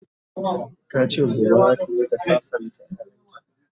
tace gobe zataje ta sassanta ƴaƴanta